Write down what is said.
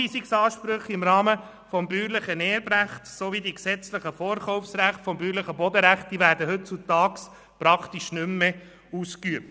Zuweisungsansprüche im Rahmen des bäuerlichen Erbrechts sowie die gesetzlichen Vorkaufsrechte des bäuerlichen Bodenrechts werden heutzutage praktisch nicht mehr ausgeübt.